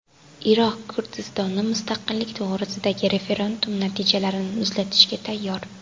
Iroq Kurdistoni mustaqillik to‘g‘risidagi referendum natijalarini muzlatishga tayyor.